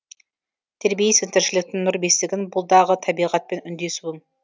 тербейсің тіршіліктің нұр бесігін бұл дағы табиғатпен үндесуің